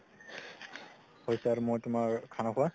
হৈছে আৰু মই তুমাৰ খানা খুৱাৰ